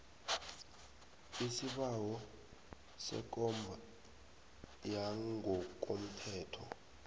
isibawo sekomba yangokomthetho